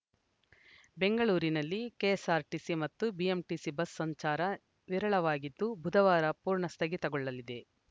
ಬೆಂಗಳೂರಿನಲ್ಲಿ ಕೆಎಸ್ಸಾರ್ಟಿಸಿ ಮತ್ತು BMTC bus ಸಂಚಾರ ವಿರಳವಾಗಿತ್ತು ಬುಧವಾರ ಪೂರ್ಣ ಸ್ಥಗಿತಗೊಳ್ಳಲಿದೆ